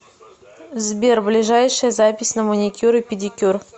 сбер ближайшая запись на маникюр и педикюр